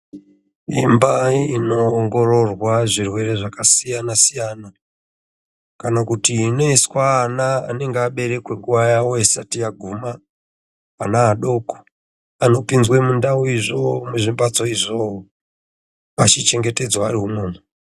Imba inoongororwa zvirwere zvakasiyana -siyana kana kuti inoiswe ana anenge aberekwe nguwa yawo isati yaguma, ana adoko ano pinzwe mundau izvo muzvimbatso izvo achiche ngetedzwa ari imwomwo.